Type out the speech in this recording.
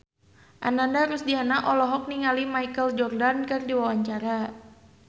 Ananda Rusdiana olohok ningali Michael Jordan keur diwawancara